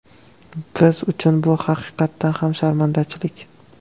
Biz uchun bu haqiqatan ham sharmandachilik.